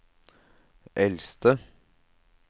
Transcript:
eldste